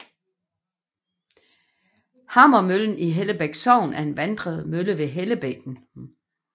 Hammermøllen i Hellebæk Sogn er en vanddrevet mølle ved Hellebækken